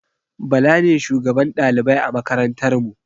bala ne shugaban ɗalibai a makarantar mu